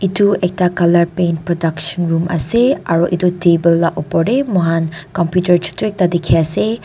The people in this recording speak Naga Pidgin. edu ekta coulur paint production room ase aro edu table la opor tae mohan computer ekta chutu dikhiase.